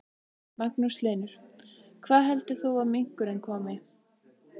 Magnús Hlynur: Hvaða heldur þú að minkurinn komi?